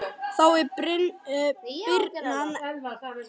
Þá var birnan ellefu vetra.